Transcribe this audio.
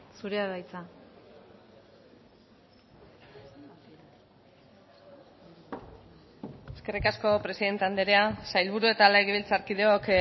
zurea da hitza eskerrik asko presidente andrea sailburu eta legebiltzarkideok